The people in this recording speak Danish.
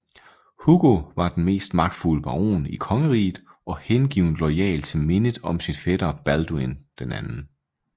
Hugo var den mest magtfulde baron i kongeriget og hengivent loyal til mindet om sin fætter Balduin 2